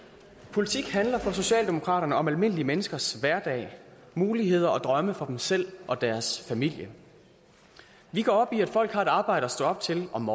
politik handler for socialdemokraterne om almindelige menneskers hverdag muligheder og drømme for dem selv og deres familie vi går op i at folk har et arbejde at stå op til om